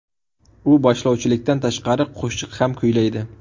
U boshlovchilikdan tashqari qo‘shiq ham kuylaydi.